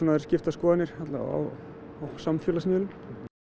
eru skiptar skoðanir á samfélagsmiðlum